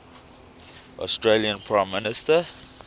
australian prime minister